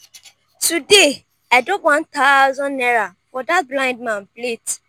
today i drop one thousand naira for dat blind man plate